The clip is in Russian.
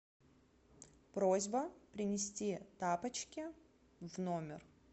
просьба принести тапочки в номер